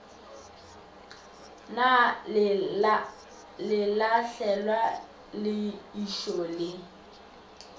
na lelahlelwa le ijoo le